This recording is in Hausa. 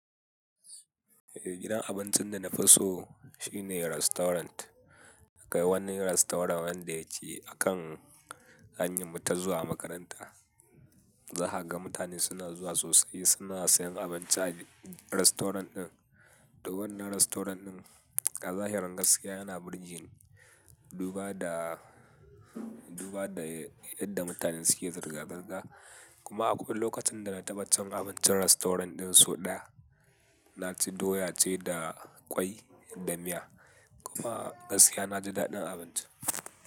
Eh, gidan abincin da na fi so shine restaurant. Akai wani restaurant wanda yake akan hanyar mu ta zuwa makaranta. Zaha ga mutane suna zuwa sosai, suna sayen abinci a restaurant ɗin. To wannan restaurant ɗin a zahirin gaskiya yana burge ni, duba da, duba da yadda mutane suke zirga-zirga. Kuma a kowane lokacin da na taɓa cin abincin restaurant ɗin sau ɗaya, na ci doya ce da kwai da miya. Kuma gaskiya na ji daɗin abincin.